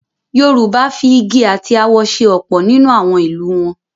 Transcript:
Yorùbá fi igi àti awọ se ọ̀pọ̀ nínú àwọn ìlù wọn.